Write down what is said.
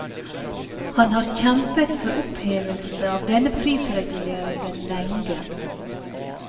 Han har kjempet for opphevelse av denne prisreguleringen lenge.